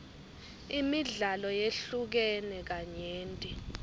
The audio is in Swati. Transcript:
imidlalo yehlukene kanyenti